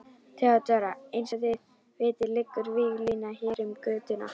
THEODÓRA: Eins og þið vitið liggur víglína hér um götuna.